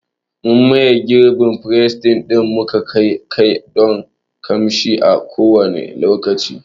Muna maye gurbin freshner ɗin mu akai-akai don ƙamshi a kowanne lokaci.